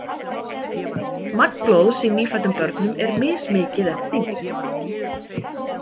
Magn blóðs í nýfæddum börnum er mismikið eftir þyngd.